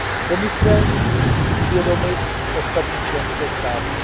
Komise musí uvědomit ostatní členské státy.